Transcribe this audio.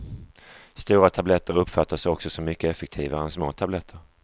Stora tabletter uppfattas också som mycket effektivare än små tabletter.